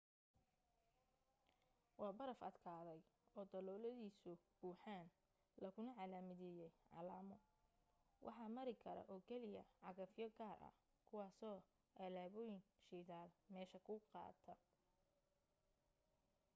waa baraf adkaday oo dalooladiisu buuxaan laguna calaamadiyay calamo waxa mari kara oo keliya cagafyo gaar ah kuwaasoo alaabooyin shidaal meesha ku qaada